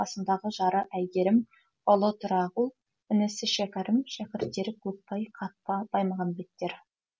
қасындағы жары әйгерім ұлы тұрағұл інісі шәкәрім шәкірттері көкбай қатпа баймағамбеттер